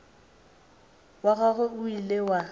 wa gagwe o ile wa